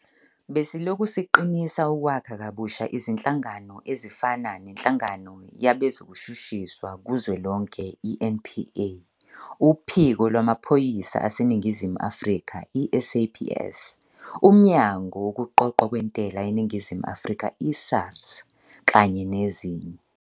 Besilokhu siqinisa ukwakha kabusha izinhlangano ezifana neNhlangano Yabezokushushiswa Kuzwelonke, i-NPA, uPhiko Lwamaphoyisa aseNingizimu Afrika, i-SAPS, uMnyango Wokuqoqwa kweNtela eNingizimu Afrika, i-SARS, kanye nezinye.